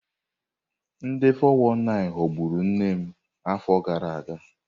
Ndị 419 ghọgburu nne m afọ gara aga.